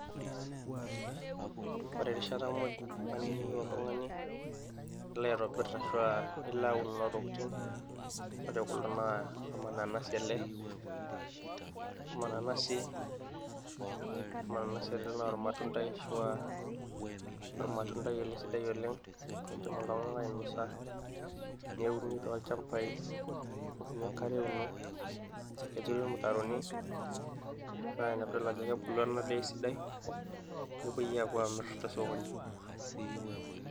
ore muuj naba enaa eniyieu oltung'ani nilo aitobirr ashu aa nilo aun kuna tokitin oo tekulo naa ormananasi ele, ormananasi naa ormatundai ashu aa ormatundai ele sidai oleng oidim iltung'anak ainosa neuni tolchambai nebukokini enkare euno neturi irmutaroni naa ina piidol ajo kebulu ena daa esidai nepuoi aapuo amirr tesokoni.